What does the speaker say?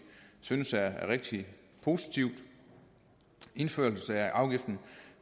synes er rigtig positivt indførelse af afgiften